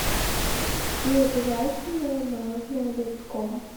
и обязательно мороженое ледком